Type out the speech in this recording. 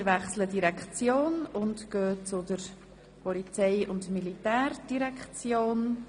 Wir wechseln die Direktion und kommen zur Polizei- und Militärdirektion.